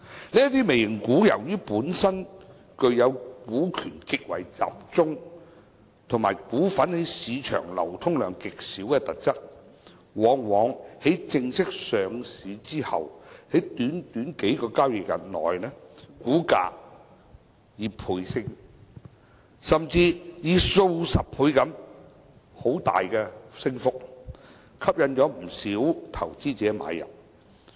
由於這些"微型股"本身具有股權極為集中，以及股份在市場流通量極少的特質，往往在正式上市後的短短數個交易日內，股價倍升，甚至是數十倍地大幅上升，吸引不少投資者買入。